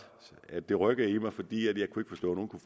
at det rykkede i mig fordi at nogen kunne